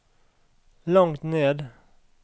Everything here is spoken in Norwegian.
langt ned